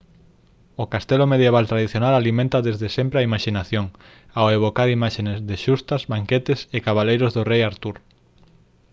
o castelo medieval tradicional alimenta desde sempre a imaxinación ao evocar imaxes de xustas banquetes e cabaleiros do rei artur